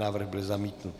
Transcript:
Návrh byl zamítnut.